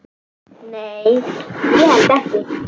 Nei, ég held ekki.